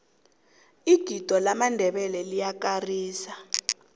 igido lamandebele liyakarisa